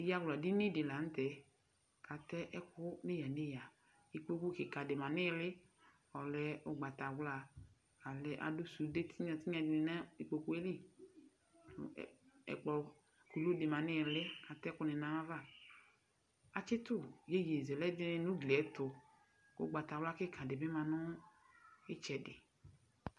Ɛyawla dini dɩ la nʋ tɛ, ɛkplɔ kɩka dɩ ma nɩɩlɩ ɔlɛ ʋgbatawla k ɩka dɩ ma nʋ ugliɛtʋ